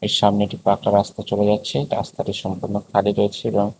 সামনে একটি পাঁকা রাস্তা চলে যাচ্ছে রাস্তাটি সম্পূর্ন খালি রয়েছে এবং--